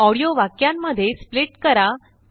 ऑडिओवाक्यांमध्येस्प्लिट करा